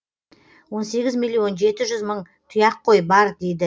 он сегіз миллион жеті жүз мың тұяқ қой бар дейді